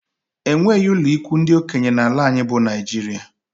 Enweghị ụlọikwuu ndị okenye n'ala anyị bụ Naijiria